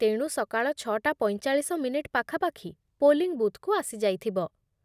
ତେଣୁ ସକାଳ ଛଅଟା ପଞ୍ଚଚାଳିଶ ମିନିଟ୍ ପାଖାପାଖି ପୋଲିଂ ବୁଥ୍‌କୁ ଆସିଯାଇଥିବ ।